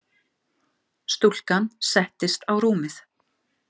Stúlkan settist á rúmið.